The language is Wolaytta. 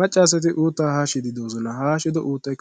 macca asati uttaa haashiidi de'oosona. ha haashido uuttay